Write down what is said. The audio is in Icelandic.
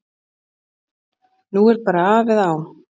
Nú er bara af eða á.